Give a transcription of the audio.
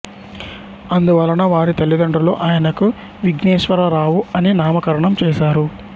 అందువలన వారి తల్లిదండ్రులు ఆయనకు విఘ్నేశ్వరరావు అని నామకరణం చేసారు